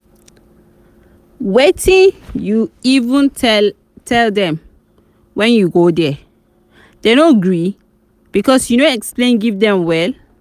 wetin you even tell dem when you go there? dem no gree because you no explain give dem well